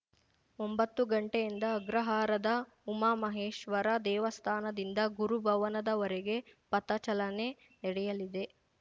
ಒಂಬತ್ತು ಗಂಟೆಯಿಂದ ಅಗ್ರಹಾರದ ಉಮಾಮಹೇಶ್ವರ ದೇವಸ್ಥಾನದಿಂದ ಗುರು ಭವನದವರೆಗೆ ಪಥ ಚಲನೆ ನಡೆಯಲಿದೆ